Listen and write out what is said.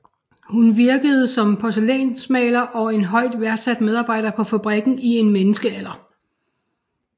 Hun virkede som porcelænsmaler og en højt værdsat medarbejder på fabrikken i en menneskealder